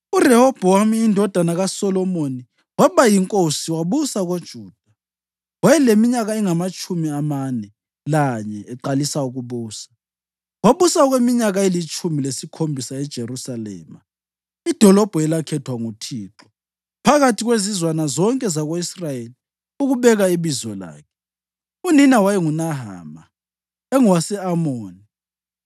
URehobhowami indodana kaSolomoni waba yinkosi wabusa koJuda. Wayeleminyaka engamatshumi amane lanye eqalisa ukubusa, wabusa okweminyaka elitshumi lesikhombisa eJerusalema idolobho elakhethwa nguThixo phakathi kwezizwana zonke zako-Israyeli ukubeka iBizo lakhe. Unina wayenguNahama; engowase-Amoni.